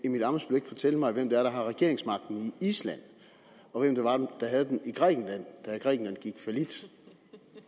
emil ammitzbøll ikke fortælle mig hvem det er der har regeringsmagten i island og hvem det var der havde den i grækenland da grækenland gik fallit